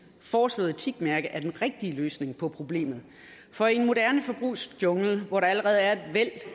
foreslåede etikmærke er den rigtige løsning på problemet for i en moderne forbrugsjungle hvor der allerede er et væld